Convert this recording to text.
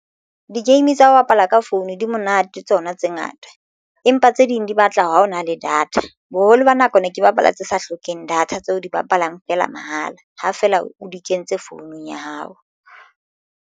Di-game tsa ho bapala ka phone di monate tsona tse ngata empa tse ding di batla ha o na le data boholo ba nako ne ke bapala tse sa hlokeng data tseo di bapalang feela mahala. Ha fela o di kentse founung ya hao.